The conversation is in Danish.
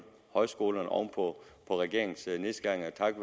højskolerne oven på regeringens nedskæringer takket